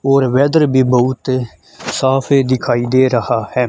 और वेदर भी बहुत साफ है दिखाई दे रहा है।